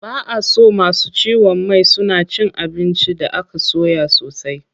Ba a so masu ciwon mai suna cin abinci da aka soya sosai.